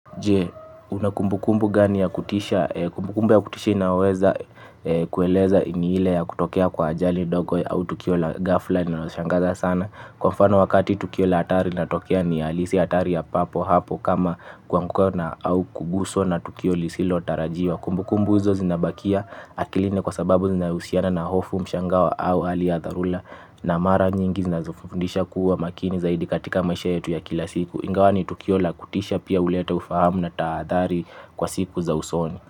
Je, una kumbukumbu gani ya kutisha? Kumbukumbu ya kutisha inaweza kuelezea ile ya kutukea kwa ajali ndogo au tukio la ghafla linalokushangaza sana. Kwa mfano tukio la hatari linatokea ni halisi hatari ya hapo papo kama kuanguka na au kubuso na tukio tunao tarajiwa. Kumbukumbu hizo zinabakia akilini kwa sababu zinahusiana na hofu mshangao au hali ya dharura na mara nyingi zinazofundisha kuwa makini zaidi katika maisha yetu ya kila siku. Ingawani tukio la kutisha pia huleta ufahamu na taadhari kwa siku za usoni.